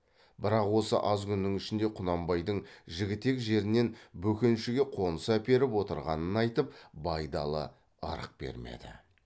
бірақ осы аз күннің ішінде құнанбайдың жігітек жерінен бөкеншіге қоныс әперіп отырғанын айтып байдалы ырық бермеді